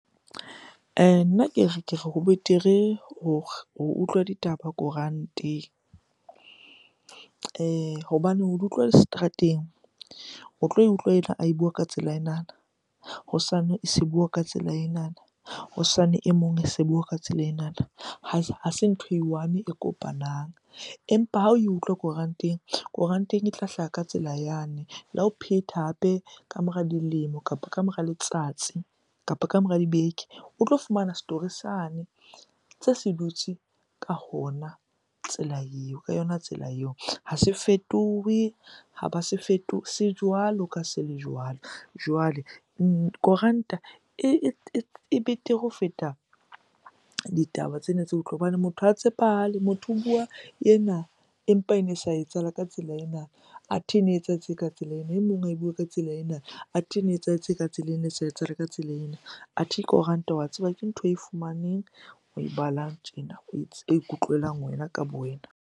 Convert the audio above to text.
Nna ke re, ke re ho betere ho utlwa ditaba koranteng hobane ho di utlwa di seterateng, o tlo e utlwa ae bua ka tsela enana, hosane e se bua ka tsela enana, hosane e mong e se bua ka tsela ena, ha se ntho e one e kopanang. Empa ha oe utlwa koranteng, koranteng e tla hlaha ka tsela yane. Le ha o phetha hape ka mora dilemo, kapa ka mora letsatsi, kapa ka mora dibeke o tlo fumana story sane tse se dutse ka hona tsela eo, ka yona tsela eo. Ha se fetohe, ha ba se se jwalo ka ha se le jwalo. Jwale koranta e betere ho feta ditaba tsena tse hobane motho ha tshepahale. Motho o bua ena empa ene sa etsahala ka tsela ena, athe na etsahetse ka tsela ena. E mong ae bue ka tsela ena, athe ene etsahetse ka tsela ena, ene sa etsahala ka tsela ena. Athe koranta wa tseba ke ntho oe fumaneng, oe balang tjena o ikutlwelang wena ka bo wena.